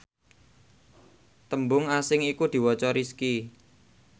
tembung asing iku diwaca Rizqi